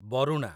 Baruna